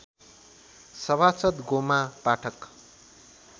सभासद् गोमा पाठक